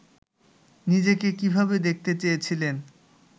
নিজেকে কীভাবে দেখতে চেয়েছিলেন